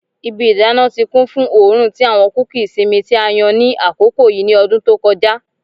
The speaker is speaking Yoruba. Ibi idana ti kun fun oorun ti awọn kuki isinmi ti a yan ni akoko yii ni ọdun to kọja